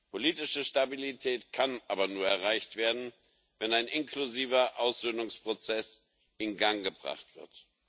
Politische Stabilität kann aber nur erreicht werden, wenn ein inklusiver Aussöhnungsprozess in Gang gebracht wird.